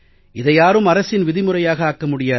இதை யாரும் அரசின் விதிமுறையாக ஆக்க முடியாது